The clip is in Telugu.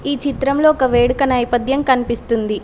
ఈ చిత్రంలో ఒక వేడుక నైపథ్యం కనిపిస్తుంది.